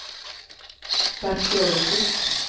Bert Söderqvist